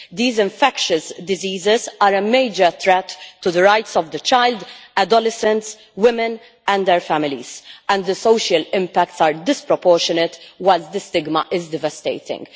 These infectious diseases are a major threat to the rights of the child, adolescents, women and their families, and the social impacts are disproportionate, while the stigma is devastating.